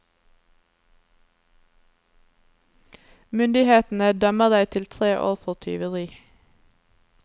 Myndighetene dømmer deg til tre år for tyveri.